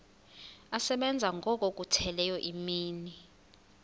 asebenza ngokokhutheleyo imini